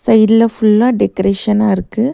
சைட்ல ஃபுல்லா டெக்கரேஷனா இருக்கு.